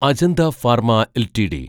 Ajanta pharma LTD